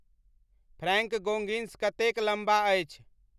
Frank Goggins कतेक लंबा अछि